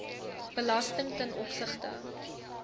belasting ten opsigte